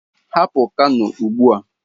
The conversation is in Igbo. Hapụ Kano ugbu a!